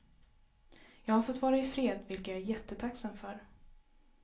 Jag har fått vara i fred, vilket jag är jättetacksam för.